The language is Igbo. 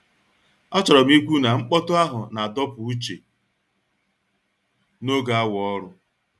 Achọrọ m ikwu na mkpọtụ ahụ na-adọpụ uche n'oge awa ọrụ.